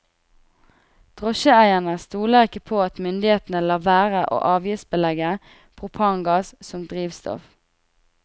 Drosjeeierne stoler ikke på at myndighetene lar være å avgiftsbelegge propangass som drivstoff.